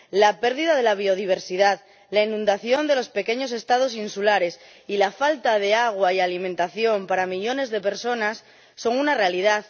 La pérdida de la biodiversidad, la inundación de los pequeños Estados insulares y la falta de agua y alimentación para millones de personas son una realidad.